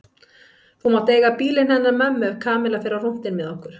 Þú mátt eiga bílinn hennar mömmu ef Kamilla fer á rúntinn með okkur